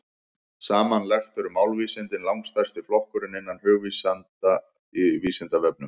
Samanlagt eru málvísindin langstærsti flokkurinn innan hugvísinda á Vísindavefnum.